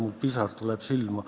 Mul tuleb pisar silma.